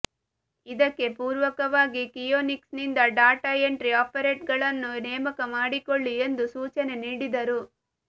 ಇದಕ್ಕೆ ಪೂರಕವಾಗಿ ಕಿಯೋನಿಕ್ಸ್ನಿಂದ ಡಾಟಾ ಎಂಟ್ರಿ ಆಪರೇಟರ್ಗಳನ್ನು ನೇಮಕ ಮಾಡಿಕೊಳ್ಳಿ ಎಂದು ಸೂಚನೆ ನೀಡಿದರು